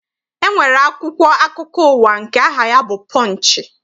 E nwere akwụkwọ akụkọ ụwa nke aha ya bụ Pọnchị.